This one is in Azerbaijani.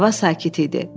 Hava sakit idi.